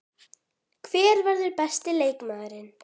Hver verður besti leikmaðurinn?